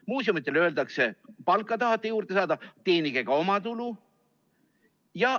Muuseumidele öeldakse: palka tahate juurde saada, teenige ka omatulu.